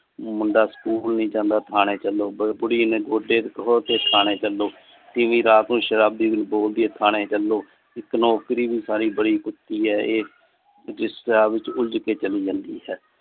ਮੁੰਡਾ ਸਕੂਲ ਨਹੀਂ ਜਾਂਦਾ ਠਾਣੇ ਚਲੋ, ਬੁੜੀ ਨੇ ਠਾਣੇ ਚਲੋ, ਤੀਵੀਂ ਰਾਤ ਨੂੰ ਸ਼ਰਾਬੀ ਬੋਲਦੀ ਹੈ ਠਾਣੇ ਚਲੋ। ਇਕ ਨੌਕਰੀ ਭੀ ਬੜੀ ਕੁਤੀ ਆ ਇਹ ਜਿਸ ਰਾਹ ਵਿਚ ਉਲਝ ਕੇ ਚਾਲੀ ਜਾਂਦੀ ਹੈ।